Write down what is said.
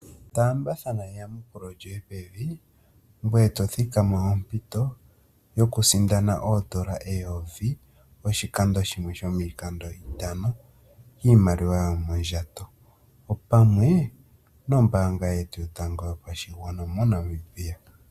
Taambathana eyamukulo lyoye pevi ngoye to thikama ompito yokusindana oondola eyovi oshikando shimwe shomiikando yi li itano miimaliwa moondjato, opamwe nombaanga yetu yotango yopashigwana moNamibia.